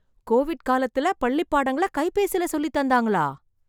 Covid காலத்துல, பள்ளிப் பாடங்களை கைபேசில சொல்லித் தந்தாங்களா...